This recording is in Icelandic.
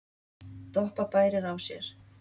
Doppa bærir á sér.